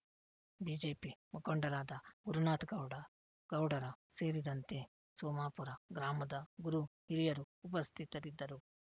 BJP ಮುಖಂಡರಾದ ಗುರುನಾಥ್ ಗೌಡ ಗೌಡರ ಸೇರಿದಂತೆ ಸೋಮಾಪುರ ಗ್ರಾಮದ ಗುರು ಹಿರಿಯರು ಉಪಸ್ಥಿತರಿದ್ದರು